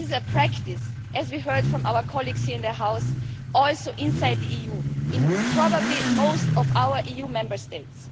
This is a practice as we heard from our colleagues here in the House also inside the EU, probably in most of our Member States.